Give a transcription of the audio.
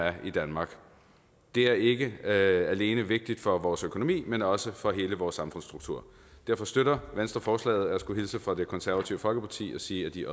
er i danmark det er ikke alene vigtigt for vores økonomi men også for hele vores samfundsstruktur derfor støtter venstre forslaget og jeg skulle hilse fra det konservative folkeparti og sige at de